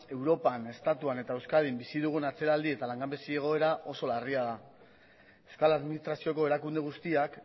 europan estatuan eta euskadin bizi dugun atzeraldi eta langabezi egoera oso larria da euskal administrazioko erakunde guztiak